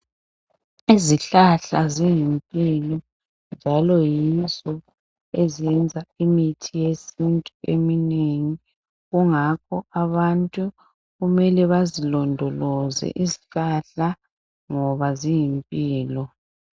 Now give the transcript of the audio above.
Izihlahla ziyimpilo njalo yizo eziyenza imithi yesithu eminengi, kungakho abantu kumele bazilondoloze izihlahla ngoba ziyimpilo.